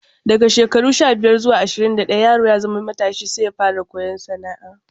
Daga shekaru sha-biyar zuwa ashirin da ɗaya yaro ya zama matashi sai ya fara koyon sana'a.